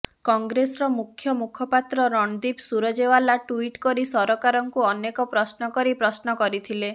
କଂଗ୍ରେସର ମୁଖ୍ୟ ମୁଖପାତ୍ର ରଣଦୀପ ସୁରଜେଓ୍ବାଲା ଟ୍ବିଟ୍ କରି ସରକାରଙ୍କୁ ଅନେକ ପ୍ରଶ୍ନ କରି ପ୍ରଶ୍ନ କରିଥିଲେ